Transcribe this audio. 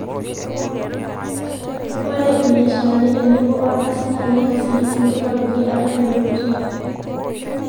ore ibiasharani tenebo o rkasin naa keyau sii isinkir oopiki atua impeutin